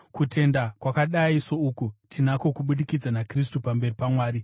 Kutenda kwakadai souku tinako kubudikidza naKristu pamberi paMwari.